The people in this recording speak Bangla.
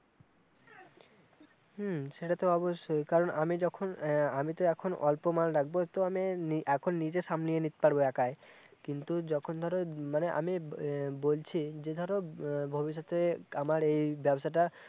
হম সেটা তো অবশ্যই কারণ আমি যখন আহ আমি তো এখন অল্প মাল রাখবো তো আমি এখন নিজে সামলিয়ে নিতে পারব একাই কিন্তু যখন ধরো মানে আমি এ বলছি যে ধরো ভবিষ্যতে আমার এই ব্যবসাটা